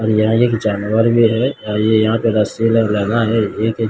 और यह एक जानवर भी है और ये यहां पे रस्सी लग लगा है एक--